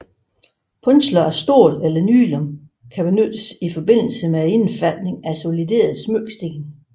Punsler af stål eller nylon kan benyttes i forbindelse med indfatning af solidere smykkesten